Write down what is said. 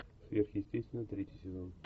сверхъестественное третий сезон